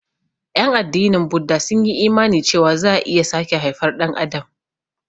Ƴan addinin Buda sun yi imani cewa za'a iya sake haifar Ɗan adam.